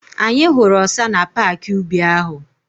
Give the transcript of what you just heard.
Anyị hụrụ ọsa na paaki ubi ahụ.